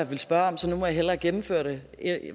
ville spørge om så nu må jeg hellere gennemføre det